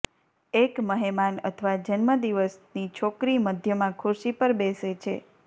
એક મહેમાન અથવા જન્મદિવસની છોકરી મધ્યમાં ખુરશી પર બેસે છે